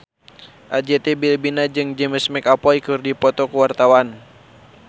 Arzetti Bilbina jeung James McAvoy keur dipoto ku wartawan